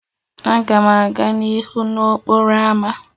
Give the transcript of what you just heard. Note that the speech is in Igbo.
Aga m aga n'ihu n'okporo ámá.